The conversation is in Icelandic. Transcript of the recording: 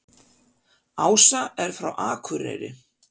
Ása er frá Akureyri.